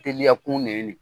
Teliya kun nɛ nɛ